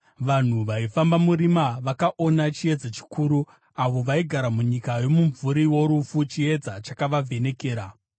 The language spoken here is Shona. Vanhu vaifamba murima vakaona chiedza chikuru; avo vaigara munyika yomumvuri worufu, chiedza chakavavhenekera.